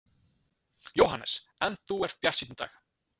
Jóhannes: En þú ert bjartsýnn í dag?